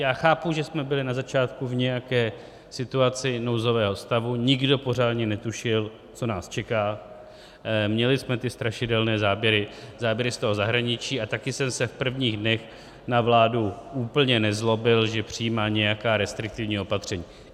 Já chápu, že jsme byli na začátku v nějaké situaci nouzového stavu, nikdo pořádně netušil, co nás čeká, měli jsme ty strašidelné záběry z toho zahraničí a také jsem se v prvních dnech na vládu úplně nezlobil, že přijímá nějaká restriktivní opatření.